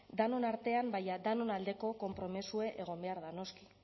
denon artean baina danon aldeko konpromezue egon behar da noski